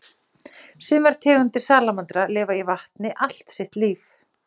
Sumar tegundir salamandra lifa í vatni allt sitt líf.